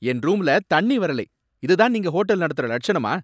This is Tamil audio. என் ரூம்ல தண்ணி வரலை. இதுதான் நீங்க ஹோட்டல் நடத்துற லட்சணமா?